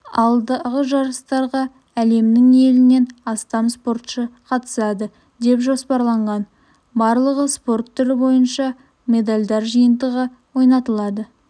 алдағы жарыстарға әлемнің елінен астам спортшы қатысады деп жоспарланған барлығы спорт түрі бойынша медальдар жиынтығы ойнатылады